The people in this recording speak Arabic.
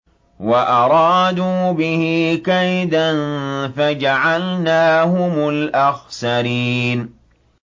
وَأَرَادُوا بِهِ كَيْدًا فَجَعَلْنَاهُمُ الْأَخْسَرِينَ